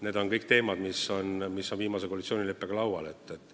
Need on kõik teemad, mis on viimase koalitsioonileppega lauale pandud.